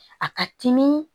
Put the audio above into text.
A ka timi